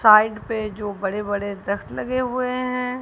side पे जो बड़े बड़े दख्त लगे हुए हैं--